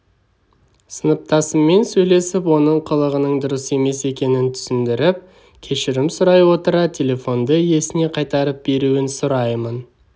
сыныптасыммен сөйлесіп оның қылығының дұрыс емес екенін түсіндіріп кешірім сұрай отыра телефонды иесіне қайтарып беруін сұраймын